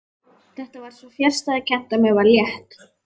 Þetta var svo fjarstæðukennt að mér var létt.